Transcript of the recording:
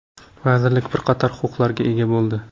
Vazirlik bir qator huquqlarga ega bo‘ldi.